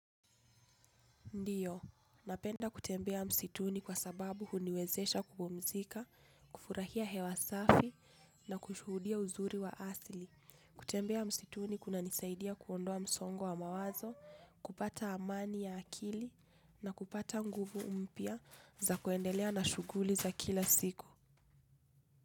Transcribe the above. Ndiyo, napenda kutembea msituni kwa sababu huniwezesha kupumzika, kufurahia hewa safi na kushuhudia uzuri wa asili. Kutembea msituni kuna nisaidia kuondoa msongo wa mawazo, kupata amani ya akili na kupata nguvu mpya za kuendelea na shuguli za kila siku.